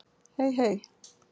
Hey, hey!